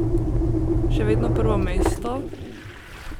Še vedno prvo mesto?